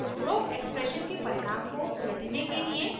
उपरोक्त एक्सप्रेशन के परिणाम को उलटने के लिए